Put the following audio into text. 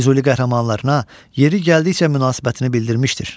Füzuli qəhrəmanlarına yeri gəldikcə münasibətini bildirmişdir.